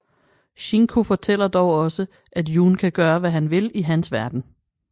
Shinku fortæller dog også at Jun kan gøre hvad han vil i hans verden